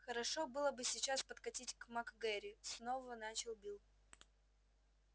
хорошо было бы сейчас подкатить к мак гэрри снова начал билл